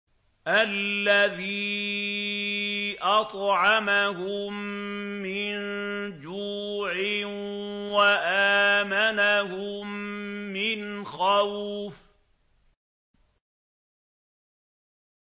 الَّذِي أَطْعَمَهُم مِّن جُوعٍ وَآمَنَهُم مِّنْ خَوْفٍ